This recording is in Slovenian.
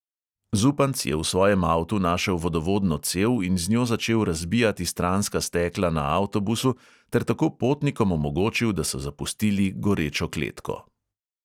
Zupanc je v svojem avtu našel vodovodno cev in z njo začel razbijati stranska stekla na avtobusu ter tako potnikom omogočil, da so zapustili gorečo kletko.